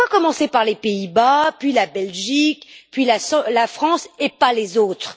Pourquoi commencer par les Pays Bas, puis la Belgique, puis la France et pas les autres?